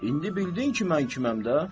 İndi bildin ki, mən kiməm də.